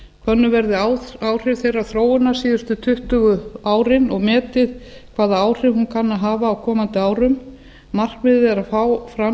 könnu verði áhrif þeirrar þróunar síðustu tuttugu árin og metið hvaða áhrif hún kann að hafa á komandi árum markmiðið er að fá fram